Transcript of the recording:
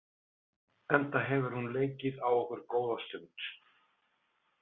Enda hefur hún leikið á okkur góða stund.